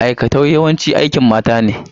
Aikatau yawanci aikin mata ne.